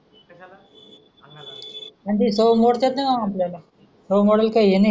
म्हणजे सवय मोडतात नाय आपल्याला सवय मोडायला काही हे नाही.